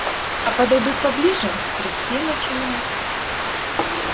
а подойдут поближе трясти начинает